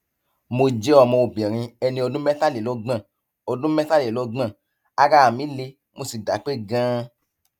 mo jẹ ọmọbìnrin ẹni ọdún mẹtàlélọgbọn ọdún mẹtàlélọgbọn ara mí le mo sì dápé ganan